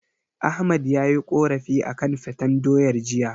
Ahmad yayi korafi akan faten doyar jiya.